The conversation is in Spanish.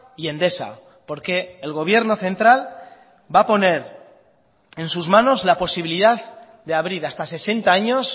y endesa porque el gobierno central va a poner en sus manos la posibilidad de abrir hasta sesenta años